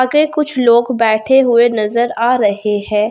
कुछ लोग बैठे हुए नजर आ रहे हैं।